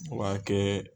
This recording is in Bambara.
O b'a kɛ